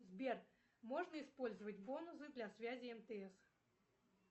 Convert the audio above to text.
сбер можно использовать бонусы для связи мтс